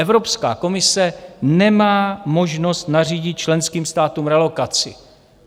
Evropská komise nemá možnost nařídit členským státům relokaci.